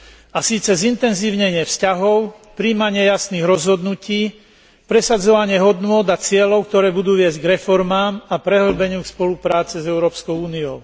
A síce zintenzívnenie vzťahov, prijímanie jasných rozhodnutí, presadzovanie hodnôt a cieľov, ktoré budú viesť k reformám a prehĺbeniu spolupráce s Európskou úniou.